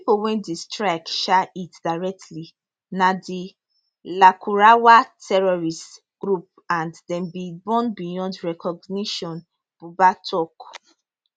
di pipo wey di strikes um hit directly na di lakurawa terrorist group and dem bin burn beyond recognition buba tok